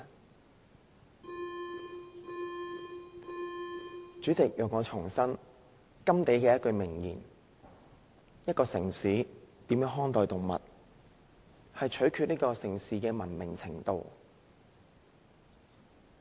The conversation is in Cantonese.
代理主席，讓我重申甘地的一句名言，一個城市如何看待動物，取決於這個城市的文明程度。